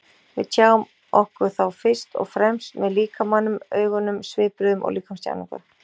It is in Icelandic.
Við tjáum okkur þá fyrst og fremst með líkamanum, augunum, svipbrigðum og líkamstjáningu.